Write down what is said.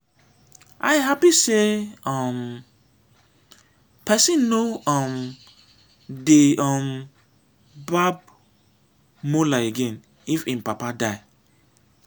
i happy say um person no um dey um barb mola again if im papa die